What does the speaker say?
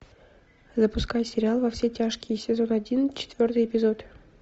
запускай сериал во все тяжкие сезон один четвертый эпизод